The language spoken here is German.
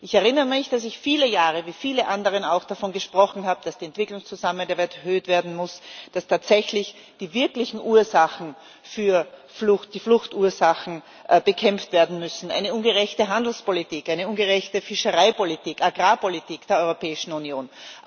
Ich erinnere mich, dass ich viele Jahre wie viele andere auch davon gesprochen habe, dass die Entwicklungszusammenarbeit erhöht werden muss, dass tatsächlich die wirklichen Fluchtursachen bekämpft werden müssen eine ungerechte Handelspolitik, eine ungerechte Fischereipolitik, Agrarpolitik der Europäischen Union.